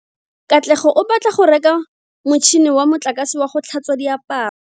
Katlego o batla go reka motšhine wa motlakase wa go tlhatswa diaparo.